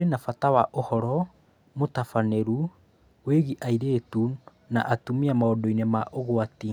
Kũrĩ na bata wa ũhoro mũtabanĩru wĩgiĩ airĩtu na atumia maũndũ-inĩ ma ũgwati